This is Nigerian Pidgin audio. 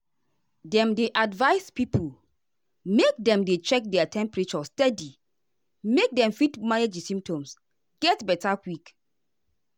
dem dey advise pipo make dem dey check their temperature steady make dem fit manage di symptoms get beta quick.